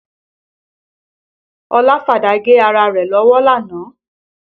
Ọlá fàdá gé ara rẹ̀ lọ́wọ́ lánàá